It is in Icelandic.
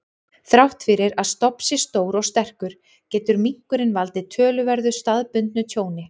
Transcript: Þrátt fyrir að stofn sé stór og sterkur, getur minkurinn valdið töluverðu staðbundnu tjóni.